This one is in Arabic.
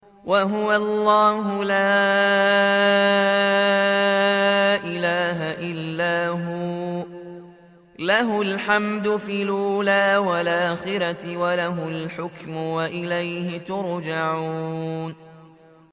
وَهُوَ اللَّهُ لَا إِلَٰهَ إِلَّا هُوَ ۖ لَهُ الْحَمْدُ فِي الْأُولَىٰ وَالْآخِرَةِ ۖ وَلَهُ الْحُكْمُ وَإِلَيْهِ تُرْجَعُونَ